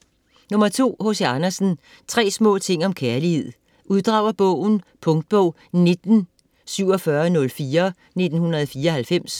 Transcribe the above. Andersen, H. C.: Tre små ting om kærlighed Uddrag af bogen. Punktbog 194704 1994.